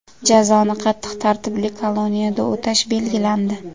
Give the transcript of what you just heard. Jazoni qattiq tartibli koloniyada o‘tash belgilandi.